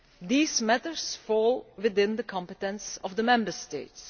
These matters fall within the competence of the Member States.